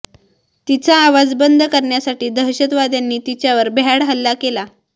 तिचा आवाज बंद करण्यासाठी दहशतवाद्यांनी तिच्यावर भ्याड हल्ला केला